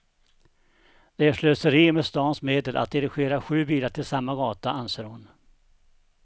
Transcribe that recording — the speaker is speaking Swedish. Det är slöseri med stans medel att dirigera sju bilar till samma gata, anser hon.